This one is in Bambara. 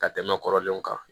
Ka tɛmɛ kɔrɔlenw kan